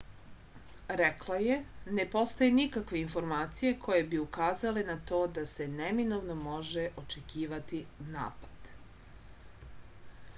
rekla je ne postoje nikakve informacije koje bi ukazale na to da se neminovno može očekivati napad